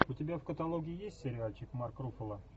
у тебя в каталоге есть сериальчик марк руффало